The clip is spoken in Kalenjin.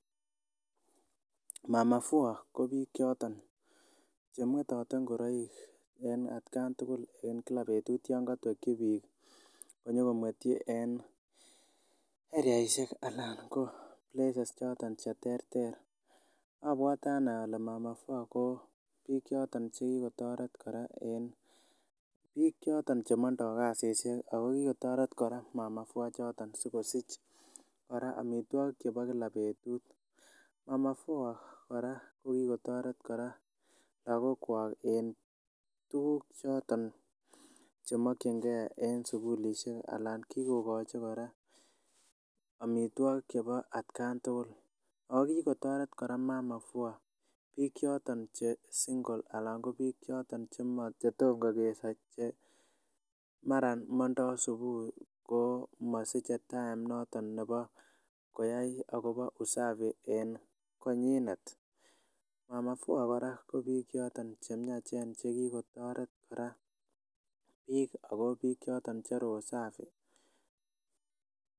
mama fua ko biik chemwetote ngoroik en atkan tugul en kila betut yan kotwekyi biik komwetyi en eriaisiek Alan ko places choton cheterter abwote ane ole mama fua ko biik choton chekikotoret kora en biik choton chemotindoo kasisiek ako kikotoret kora mama fua ichoton sikosich kora amitwogik chebo kila betut mama fua kora kokikotoret kora lagok kwak en tuguk choton chemokyingee en sukulisiek alan kikochi kora amitwogik chebo atkan tugul ako kikotoret kora mama fua biik choton che single anan ko biik choton chetom kokeso che mara mondoo subui komosiche time noton nebo koyai akobo usafi en konyinet mama fua kora ko biik choton che miachen chekikotoret kora biik ako biik choton che roho safi